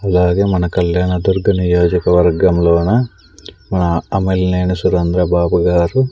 అలాగే మన కళ్యాణ దుర్గ్ నియోజకవర్గం లోన మన అమిళ్ నేని సురేంద్రబాబు గారు--